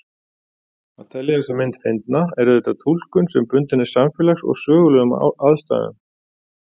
Að telja þessa mynd fyndna er auðvitað túlkun sem bundin er samfélags- og sögulegum aðstæðum.